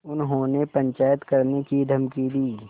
उन्होंने पंचायत करने की धमकी दी